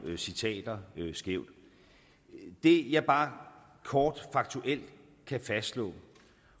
citater skævt det jeg bare kort faktuelt kan fastslå